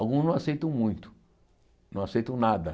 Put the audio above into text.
Alguns não aceitam muito, não aceitam nada.